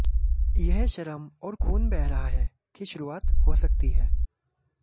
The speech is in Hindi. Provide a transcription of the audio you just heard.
यह श्रम और खून बह रहा है की शुरुआत हो सकती है